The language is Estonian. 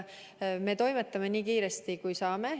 Me toimetame nii kiiresti, kui saame.